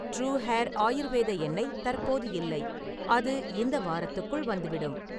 true hair Ayurveda எண்ணெய் தற்போது இல்லை, அது இந்த வாரத்துக்குள் வந்துவிடும்